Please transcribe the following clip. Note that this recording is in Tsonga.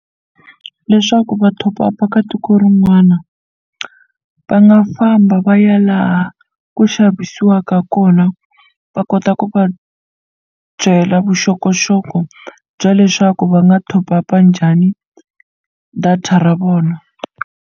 Leswaku va top up-a ka tiko rin'wana va nga famba va ya laha ku xavisiwaka kona va kota ku va byela vuxokoxoko bya leswaku va nga top up-a njhani data ra vona.